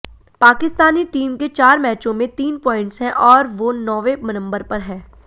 Pakistani team के चार मैचों में तीन पॉइंट्स है और वो नौवें नंबर पर है